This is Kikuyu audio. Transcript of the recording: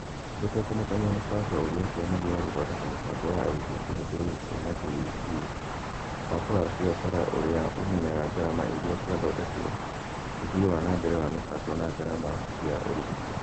Gũtekũmakania mũbango ũrĩa Kĩama gĩa gũthondeka mĩbango ya arutwo kĩhũthĩrĩte na KEC, mũbango wa biacara ũrĩa ũmenyaga ngarama iria ciathondekwo, ũthii wa na mbere wa mĩbango na ngarama cia ũrigiti